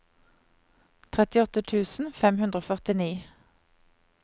trettiåtte tusen fem hundre og førtini